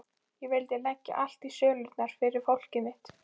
Ég vildi leggja allt í sölurnar fyrir fólkið mitt.